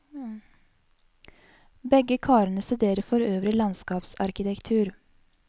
Begge karene studerer for øvrig landskapsarkitektur.